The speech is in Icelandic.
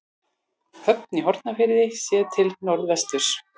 Höfn í Hornafirði séð til norðvesturs.